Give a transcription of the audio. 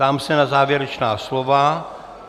Ptám se na závěrečná slova.